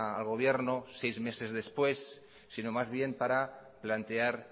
al gobierno seis meses después sino más bien para plantear